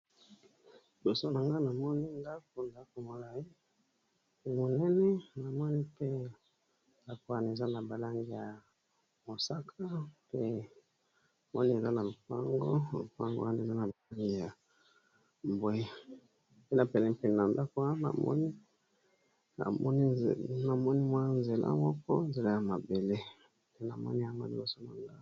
Liboso na nga na moni ndako ndako molaye monene na moni mpe ndako wana eza na balangi ya mosaka pe moni eza lopango lopango wana eza na balangi ya mbwe pene pene na ndako wana na moni mwa nzela moko nzela ya mabele na moni yango nyoso bongo.